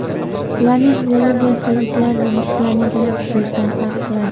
Ularning fiziologiyasi itlar va mushuklarning tana tuzilishidan farq qiladi.